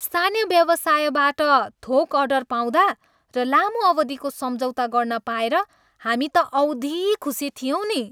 स्थानीय व्यवसायबाट थोक अर्डर पाउँदा र लामो अवधिको सम्झौता गर्न पाएर हामी त औधी खुसी थियौँ नि।